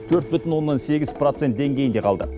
төрт бүтін оннан сегіз процент деңгейінде қалды